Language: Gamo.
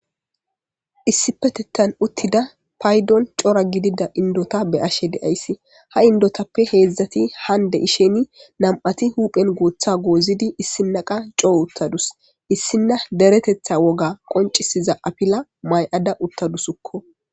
Issi petetan uttida paydon cora gidida indota be ashe deayssi ha indotappe heedzdzati hande isheni nam'ati huphen gooththa goozidi issinnaqa coo uttadus issinna deretetha woga qoncisiza apila may'ada uttadusukko.